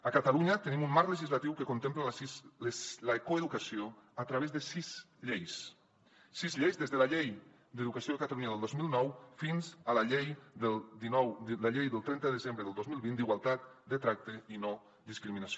a catalunya tenim un marc legislatiu que contempla la coeducació a través de sis lleis sis lleis des de la llei d’educació de catalunya del dos mil nou fins a la llei del trenta de desembre del dos mil vint d’igualtat de tracte i no discriminació